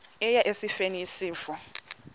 eya esifeni isifo